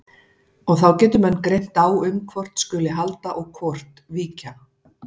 Og þá getur menn greint á um hvort skuli halda og hvort víkja.